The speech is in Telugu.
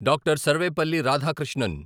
డాక్టర్. సర్వేపల్లి రాధాకృష్ణన్